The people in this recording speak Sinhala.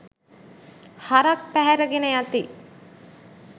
හරක් පැහැර ගෙන යති